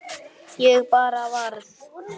Ég bara varð.